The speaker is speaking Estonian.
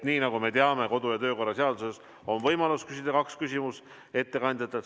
Nii nagu me teame kodu‑ ja töökorra seadusest, on võimalus küsida ettekandjatelt kaks küsimust.